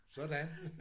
Sådan!